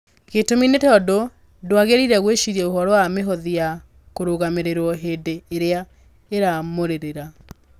Gĩtũmi nĩ tondũ ndwagĩrĩire gwĩciria ũhoro wa mĩhothi ya kũrũgamĩrĩrio hĩndĩ ĩrĩa ĩramũrũmĩrĩra.